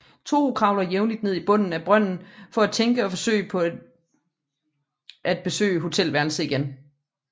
Toru kravler jævnligt ned i bunden af brønden for at tænke og forsøge på at besøge hotelværelset igen